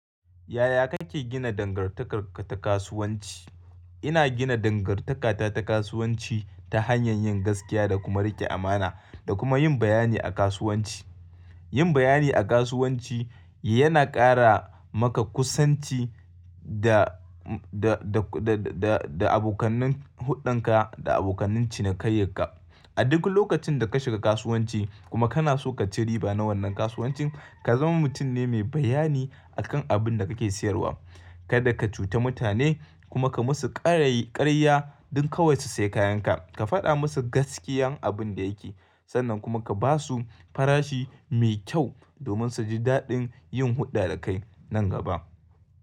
Yaya kake gina dangantakarka ta kasuwanci? Ina gina dangantakata ta kasuwanci ta hanyar yin gaskiya da kuma rike amana da kuma yin bayani a kasuwanci. Yin bayani a kasuwanci yana ƙara maka kusanci da, da, da, da abokanan hulɗan ka da abokanan cinikayyan ka. A duk lokacin da ka shiga kasuwanci kuma kana so ka ci riba na wannan kasuwancin, ka zama mutum ne mai bayani a kan abin da kake sayarwa. Kada ka cuta mutane kuma ka musu ƙarya, ƙarya dan kawai su sayi kayan ka. Ka faɗa musu gaskiyan abin da yake sannan kuma ka basu farashi mai kyau domin su ji daɗin yin hulɗa da kai nan gaba.